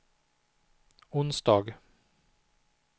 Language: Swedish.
onsdag